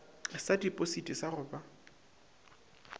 sa tipositi sa go ba